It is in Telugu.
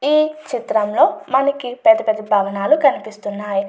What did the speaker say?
ఈ చిత్రంలో మనకి పెద్ద పెద్ద భవనాలు కనిపిస్తున్నాయి.